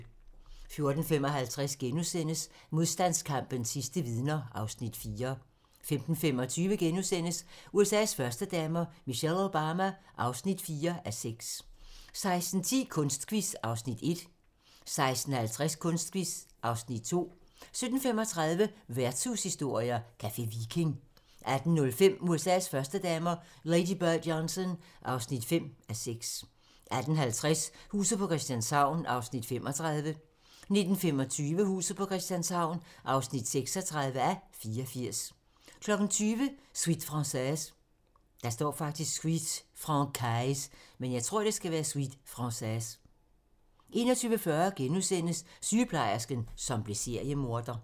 14:55: Modstandskampens sidste vidner (Afs. 4)* 15:25: USA's førstedamer - Michelle Obama (4:6)* 16:10: Kunstquiz (Afs. 1) 16:50: Kunstquiz (Afs. 2) 17:35: Værtshushistorier: Café Viking 18:05: USA's førstedamer - Lady Bird Johnson (5:6) 18:50: Huset på Christianshavn (35:84) 19:25: Huset på Christianshavn (36:84) 20:00: Suite Francaise 21:40: Sygeplejersken, som blev seriemorder *